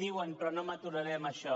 diuen però no m’aturaré en això